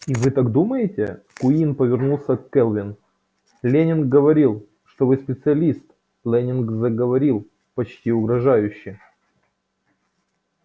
и вы так думаете куинн повернулся к кэлвин лэннинг говорил что вы специалист лэннинг заговорил почти угрожающе